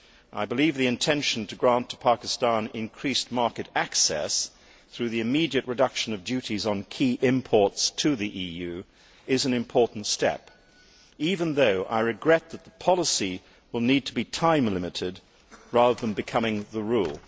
I believe the intention to grant to Pakistan increased market access through the immediate reduction of duties on key imports to the EU is an important step, even though I regret that the policy will need to be time limited rather than becoming the rule.